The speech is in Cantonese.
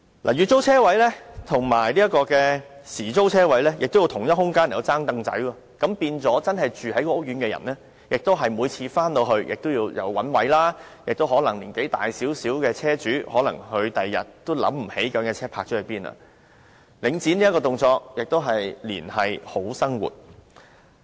月租車位和時租車位在相同空間"爭櫈仔"，令真正住在該屋苑的人每次泊車時都要找車位，年紀稍大的車主亦可能在翌日想不起把車輛泊了在哪裏，領展這動作同樣是"連繫好生活"。